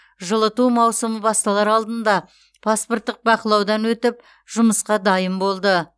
жылыту маусымы басталар алдында паспорттық бақылаудан өтіп жұмысқа дайын болды